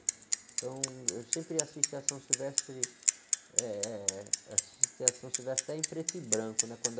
Então, eu sempre assistia são silvestre, eh, eu assisti a são silvestre até em preto e branco. Quando...